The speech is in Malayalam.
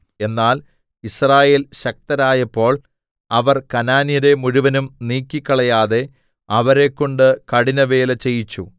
എന്നാൽ യിസ്രായേൽ ശക്തരായപ്പോൾ അവർ കനാന്യരെ മുഴുവനും നീക്കിക്കളയാതെ അവരെ കൊണ്ട് കഠിനവേല ചെയ്യിച്ചു